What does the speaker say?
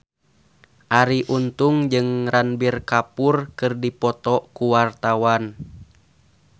Arie Untung jeung Ranbir Kapoor keur dipoto ku wartawan